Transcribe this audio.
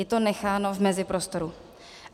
Je to necháno v meziprostoru.